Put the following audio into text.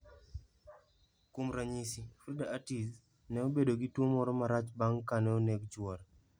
Kuom ranyisi, Frida Urtiz, ne obedo gi tuwo moro marach bang' kane oneg chwore.